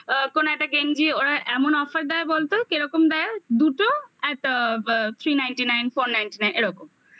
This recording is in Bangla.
কোন একটা গেঞ্জি ওরা এমন offer দেয় বলতো? কেরকম দেয়? দুটো at three ninety nine four ninety nine এরকম